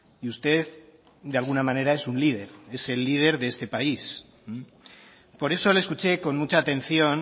y usted de alguna manera es un líder es el líder de este país por eso le escuché con mucha atención